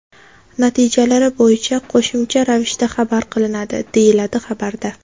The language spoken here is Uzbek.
Natijalari bo‘yicha qo‘shimcha ravishda xabar qilinadi, deyiladi xabarda.